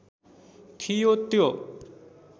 थियो त्यो